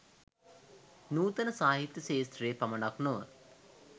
නුතන සාහිත්‍ය ක්ෂත්‍රයේ පමණක් නොව